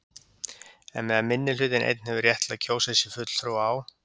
En meðan minnihlutinn einn hefur rétt til að kjósa sér fulltrúa á